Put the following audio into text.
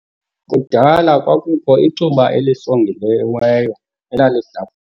Kudala kwakukho icuba elisongiweyo elalihlafunwa.